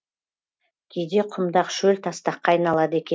кейде құмдақ шөл тастаққа айналады